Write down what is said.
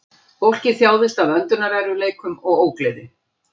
Fólkið þjáðist af öndunarerfiðleikum og ógleði